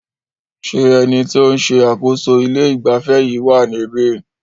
Ṣé ẹni tí o ń ṣe àkóso ilé ìgbafẹ́ yìí wá níbí?